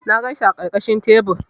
Na ganshi a ƙarƙashin tebur.